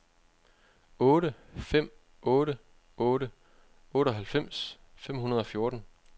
otte fem otte otte otteoghalvfems fem hundrede og fjorten